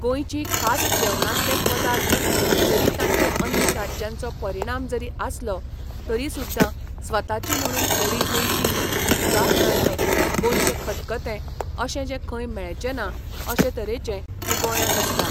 गोंयची खास जेवणातले पदार्थ जरी तांचे अन्य राज्यांचो परिणाम जरी आसलो तरी सुद्दां स्वताची म्हणून थोडीं गोंयचीं ही उदाहरणार्थ गोंयचें खतखतें अशें जें खंय मेळचेंना अशें तरेचें हे गोंयांत आसता